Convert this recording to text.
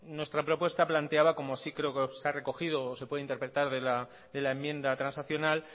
nuestra propuesta planteaba como sí creo que se ha recogido o se puede interpretar de la enmienda transaccional